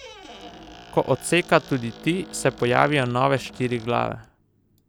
Ko odseka tudi ti, se pojavijo nove štiri glave.